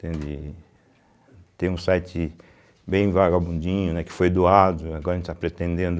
Entende. Tem um site bem vagabundinho, né, que foi doado, agora a gente está pretendendo